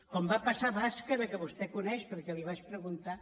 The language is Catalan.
com va passar a bàscara que vostè coneix perquè li ho vaig preguntar